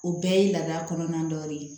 O bɛɛ ye laada kɔnɔna dɔ de ye